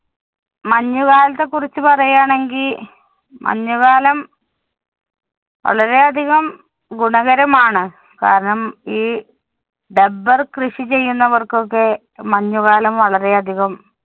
മഞ്ഞുകാലത്തെ കുറിച്ച് പറയുകയാണെങ്കി മഞ്ഞുകാലം വളരെ അധികം ഗുണകരമാണ്. കാരണം, ഈ dubber കൃഷി ചെയ്യുന്നവര്‍ക്കൊക്കെ മഞ്ഞുകാലം വളരെ അധികം